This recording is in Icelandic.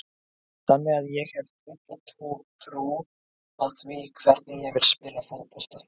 Þannig að ég hef tröllatrú á því hvernig ég vil spila fótbolta.